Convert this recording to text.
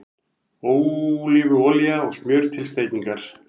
Ólífuolía og smjör til steikingar